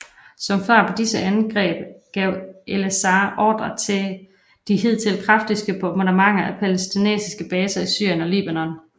Som svar på disse angreb gav Elazar ordre til de hidtil kraftigste bombardementer af palæstinensiske baser i Syrien og Libanon